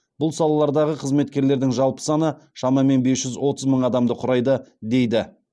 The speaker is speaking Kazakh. бұл салалардағы қызметкерлердің жалпы саны шамамен бес жүз отыз мың адамды құрайды дейді